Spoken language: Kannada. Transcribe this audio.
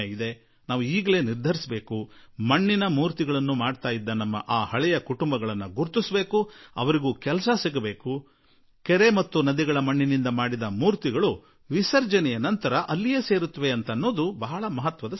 ನಾವು ಈಗಲೇ ತೀರ್ಮಾನಿಸೋಣ ಯಾರು ಹಿಂದೆ ಮೂರ್ತಿಗಳನ್ನು ಮಾಡುತ್ತಿದ್ದ ಕುಟುಂಬಗಳು ಇದ್ದವೋ ಅವರಿಗೂ ಉದ್ಯೋಗ ಸಿಗುತ್ತದೆ ಮತ್ತು ನದಿ ಅಥವಾ ಕೆರೆಯ ಮಣ್ಣಿನಿಂದ ಮಾಡಿದ ಮೂರ್ತಿ ಪುನಃ ಅದರಲ್ಲಿಯೇ ಸೇರಿ ಹೋಗಿಬಿಡುತ್ತದೆ